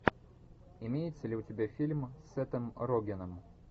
имеется ли у тебя фильм с сетом рогеном